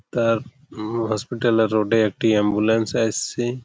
তার ম হসপিটাল -এর রোড -এ একটি অ্যাম্বুলেন্স এসসে --